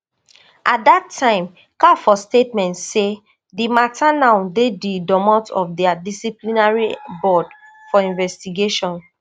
at dat time caf for statement say di matter now dey di domot of dia disciplinary board for investigation